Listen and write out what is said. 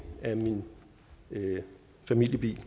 af min familiebil